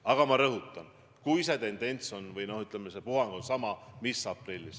Aga ma rõhutan, see on nii vaid siis, kui see puhang on samasugune kui aprillis.